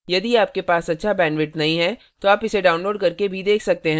यदि आपके पास अच्छा bandwidth नहीं है तो आप इसे download करके भी देख सकते हैं